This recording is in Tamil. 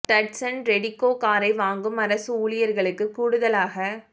டட்சன் ரெடிகோ காரை வாங்கும் அரசு ஊழியர்களுக்கு கூடுதலாக ரூ